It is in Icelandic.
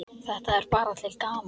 Þetta er bara til gamans.